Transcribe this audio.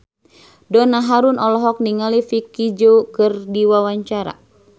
Donna Harun olohok ningali Vicki Zao keur diwawancara